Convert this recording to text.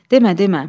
Demə, demə.